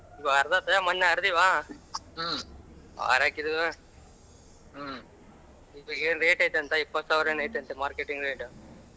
ಮಣ್ಣ ಅರದಿವ ಆರಾಕಿದೀವ rate ಐತಂತ ಏನೂ ಇಪತ್ತು ಸಾವಿರ ಆಯತಾಂತ marketing rate .